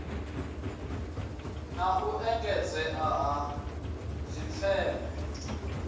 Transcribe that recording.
na u engedzea ha dzifeme